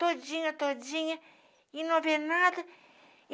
Todinha, todinha, e não haver nada.